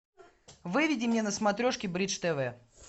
выведи мне на смотрешке бридж тв